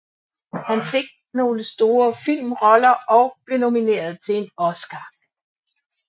Han fik nogle store filmroller tidligt i sin karriere og blev nomineret til en Oscar